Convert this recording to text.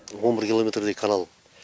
он бір километрдей канал